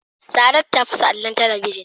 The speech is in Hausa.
Saadatu ta fasa allon talabijin.